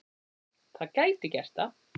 Það gæti gert það.